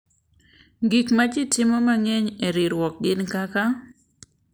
Gik ma ji mang’eny timo e ikruok gin kaka,